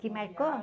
Que marcou?